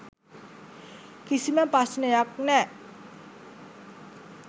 කිසිම ප්‍රශ්නයක් නෑ.